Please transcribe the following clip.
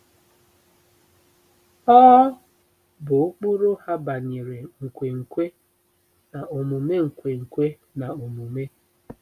Ọ bụ ụkpụrụ ha banyere nkwenkwe na omume nkwenkwe na omume.